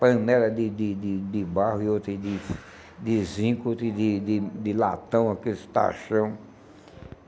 Panela de de de de barro e outra de de zinco, outra de de de latão, aqueles tachão.